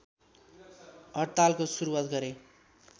हडतालको सुरुवात गरे